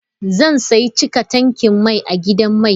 Zan sayi cika tankin mai a gidan mai.